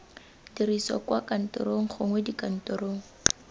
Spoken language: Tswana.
dirisiwa kwa kantorong gongwe dikantorong